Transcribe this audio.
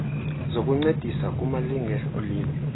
zokuncedisa kumalinge olimo